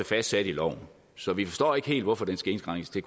fastsat i loven så vi forstår ikke helt hvorfor den skal indskrænkes til